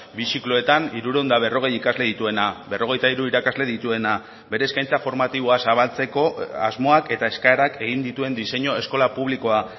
bi zikloetan hirurehun eta berrogei ikasle dituena berrogeita hiru irakasle dituena bere eskaintza formatiboa zabaltzeko asmoak eta eskaerak egin dituen diseinu eskola publikoa